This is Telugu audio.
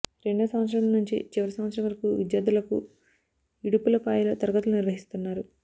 రెండో సంవత్సరం నుంచి చివరి సంవత్సరం వరకు విద్యార్థులకు ఇడుపులపాయలో తరగతులు నిర్వహిస్తున్నారు